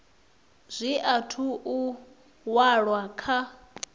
zwi athu u walwa kha